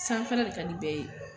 Sanfɛla de ka di bɛɛ ye